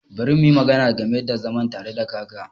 Bari muyi magana game da zama tare da kaka.